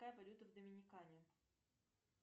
какая валюта в доминикане